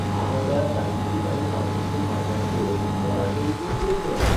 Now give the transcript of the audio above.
ना म्हणल्यार साहित्यीक आनी सांस्कृतीक माचयांचेर मराठी वचून कोंकणी आयल्या.